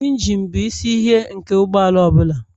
Injine bụ isi ihe nke ụgbọala ọ bụla